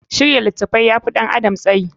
Shirya littafi ya fi ɗan adam tsayi.